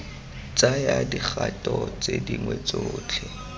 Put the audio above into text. tsaya dikgato tse dingwe tsotlhe